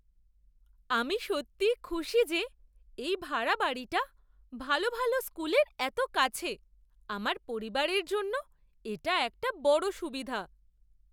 আমি সত্যিই খুশি যে এই ভাড়া বাড়িটা ভালো ভালো স্কুলের এত কাছে! আমার পরিবারের জন্য এটা একটা বড় সুবিধা।